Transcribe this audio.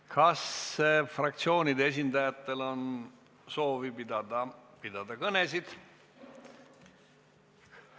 Kas fraktsioonide esindajatel on soovi pidada kõnesid?